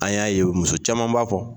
An y'a ye muso caman b'a fɔ